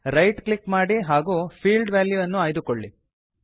right click ಮಾಡಿ ಹಾಗೂ field ವಾಲ್ಯೂನ್ನು ಆಯ್ದುಕೊಳ್ಳಿ